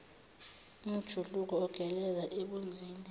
umjuluko ogeleza ebunzini